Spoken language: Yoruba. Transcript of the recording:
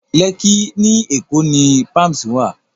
Lẹ́kkí ní Èkó ni Palms wà